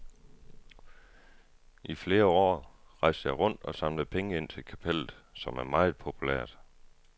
I flere år rejste jeg rundt og samlede penge ind til kapellet, som er meget populært.